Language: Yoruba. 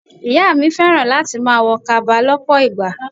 Ìyá mi fẹ́ràn láti máa wo kaba lọpọ ìgbà.